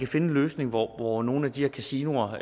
finde en løsning hvor hvor nogle af de her kasinoer